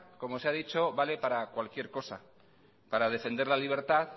como se ha dicho vale para cualquier cosa para defender la libertad